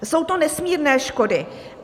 Jsou to nesmírné škody.